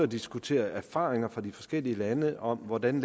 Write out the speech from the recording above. diskutere erfaringer fra de forskellige lande om hvordan